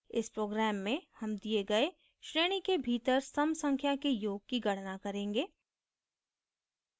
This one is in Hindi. इस program में sum दिए गए श्रेणी के भीतर sum संख्या के योग की गणना करेगें